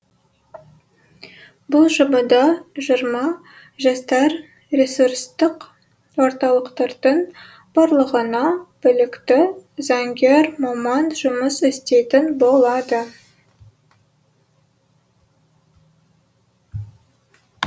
бұл жобада жиырма жастар ресурстық орталықтардың барлығына білікті заңгер маман жұмыс істейтін болады